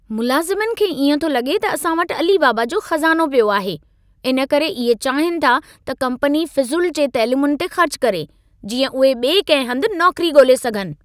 मुलाज़िमनि खे इएं थो लॻे त असां वटि अली बाबा जो खज़ानो पियो आहे। इन करे इहे चाहिनि था त कम्पनी फ़ुज़ूल जी तैलीमुनि ते ख़र्च करे, जींअं उहे ॿिए कंहिं हंधु नौकरी ॻोल्हे सघनि।